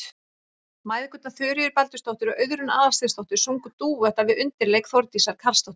Mæðgurnar Þuríður Baldursdóttir og Auðrún Aðalsteinsdóttir sungu dúetta við undirleik Þórdísar Karlsdóttur.